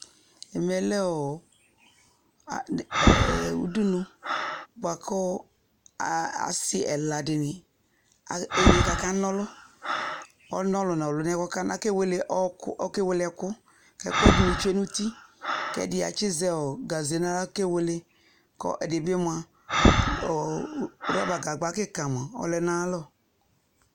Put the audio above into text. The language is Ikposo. Ɛmɛ lɛ ɔɔ ad ɛɛ udunu, bʋa kɔɔ aa asɩ ɛladɩnɩ ɛ enye k'aka n'ɔlʋ Ɔlʋn'ɔlʋ n'ɔlʋnɛɛ k'ɔkana kewele ɔɔkʋ okewel'ɛkʋ, ɛkʋɛdɩnɩ tsue n'uti; k'ɛdɩ atsɩzɛ ɔ gaze n'aɣla kewele, kɔ ɛdɩbɩ mʋa , ɔ rɔbagagba kɩka mʋa ɔlɛ n'ayalɔ